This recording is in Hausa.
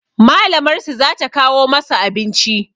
Malamar su za ta kawo masu abinci